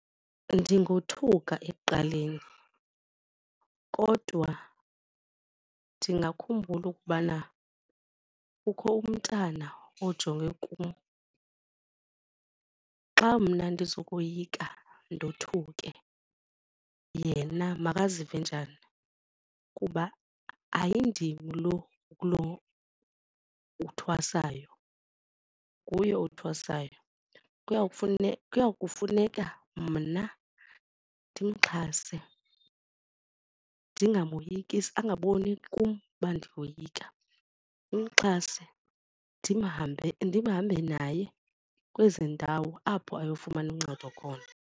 Ndingothuka ekuqaleni kodwa ndingakhumbula ukubana kukho umntana ojonge kum. Xa mna ndizokoyika ndothuke yena makazive njani kuba ayindim lo uthwasayo nguye othwasayo. Kuyawufuneka kuya kufuneka mna ndimxhase ndingamoyikisi, angaboni kum uba ndiyoyika ndimxhase ndihambe naye kwezi ndawo apho ayofumana uncedo khona.